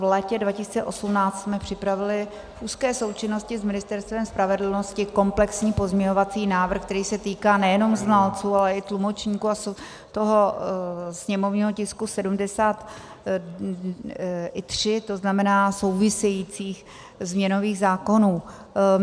V létě 2018 jsme připravili v úzké součinnosti s Ministerstvem spravedlnosti komplexní pozměňovací návrh, který se týká nejenom znalců, ale i tlumočníků, a toho sněmovního tisku 73, to znamená souvisejících změnových zákonů.